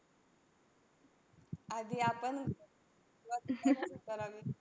आधी आपण